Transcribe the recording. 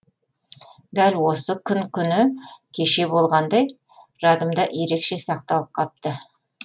дәл осы күн күні кеше болғандай жадымда ерекше сақталып қапты